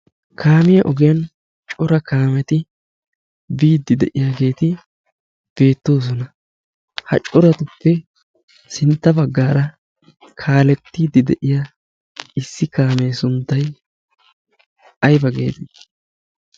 kaamiyaa ogiyan cora kaameti biiddi de'iyaageeti beettoosona. ha coratuppe sintta baggaara kaalettiiddi de'iya issi kaamee sunttai ayba geeti?